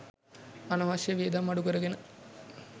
අනවශ්‍ය වියදම් අඩුකරගෙන